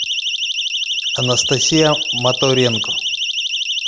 анастасия моторенко